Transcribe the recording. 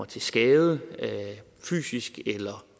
til skade fysisk eller